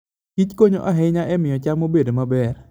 kichkonyo ahinya e miyo cham obed maber.